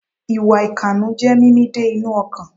Ìwà ìkànú jé mímì dé inú ọkàn